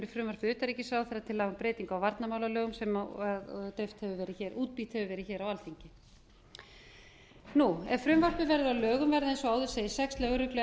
frumvarp utanríkisráðherra til laga um breytingu á varnarmálalögum sem útbýtt hefur verið hér á alþingi ef frumvarpið verður að lögum verða eins og áður segir sex lögregluembætti